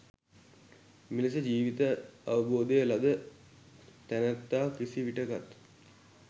මෙලෙස ජීවිත අවබෝධය ලද තැනැත්තා කිසිවිටකත්